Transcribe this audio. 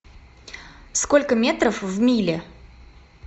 сколько метров в миле